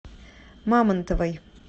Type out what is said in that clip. мамонтовой